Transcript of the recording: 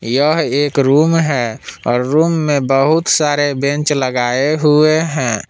यह एक रूम है और रूम में बहुत सारे बेंच लगाए हुए हैं।